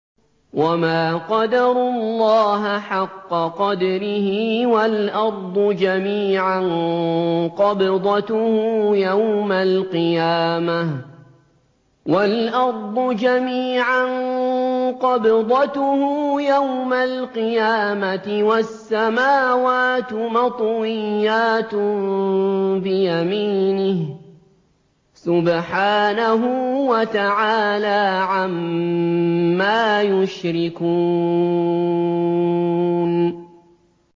وَمَا قَدَرُوا اللَّهَ حَقَّ قَدْرِهِ وَالْأَرْضُ جَمِيعًا قَبْضَتُهُ يَوْمَ الْقِيَامَةِ وَالسَّمَاوَاتُ مَطْوِيَّاتٌ بِيَمِينِهِ ۚ سُبْحَانَهُ وَتَعَالَىٰ عَمَّا يُشْرِكُونَ